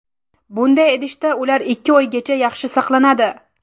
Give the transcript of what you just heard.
Bunday idishda ular ikki oygacha yaxshi saqlanadi.